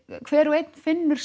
hver og einn finnur